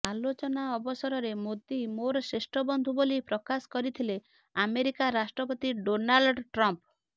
ଆଲୋଚନା ଅବସରରେ ମୋଦି ମୋର ଶ୍ରେଷ୍ଠ ବନ୍ଧୁ ବୋଲି ପ୍ରକାଶ କରିଥିଲେ ଆମେରିକା ରାଷ୍ଟ୍ରପତି ଡୋନାଲ୍ଡ ଟ୍ରମ୍ଫ